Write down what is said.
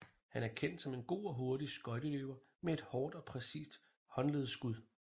Han er kendt som en god og hurtig skøjteløber med et hårdt og præcist håndledsskud